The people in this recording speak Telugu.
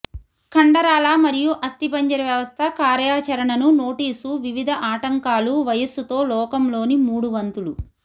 కండరాల మరియు అస్థిపంజర వ్యవస్థ కార్యాచరణను నోటీసు వివిధ ఆటంకాలు వయస్సుతో లోకంలోని మూడు వంతులు